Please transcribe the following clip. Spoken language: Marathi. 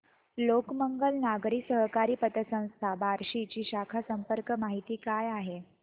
लोकमंगल नागरी सहकारी पतसंस्था बार्शी ची शाखा संपर्क माहिती काय आहे